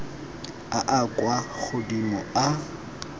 a a kwa godimo a